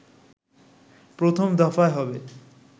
প্রথম দফায় হবে